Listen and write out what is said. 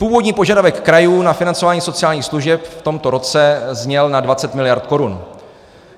Původní požadavek krajů na financování sociálních služeb v tomto roce zněl na 20 miliard korun.